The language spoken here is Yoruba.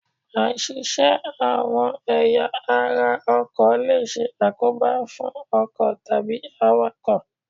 Áì-ṣiṣẹ́ àwọn ẹ̀ya ara ọkọ̀ lè ṣe àkóbá fún ọkọ̀ tàbí àwàkọ̀.